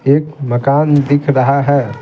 एक मकान दिख रहा है ।